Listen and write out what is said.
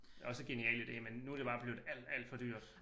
Også genial ide men nu det bare blevet alt alt for dyrt